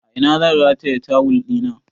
A ina zan rataye tawul ɗina?